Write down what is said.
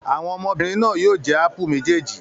Àwọn ọmọbìnrin náà yóò jẹ ápù méjèèjì.